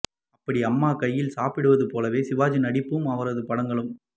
அப்படி அம்மா கையால் சாப்பிடுவது போலவே சிவாஜி நடிப்பும் அவரது படங்களும்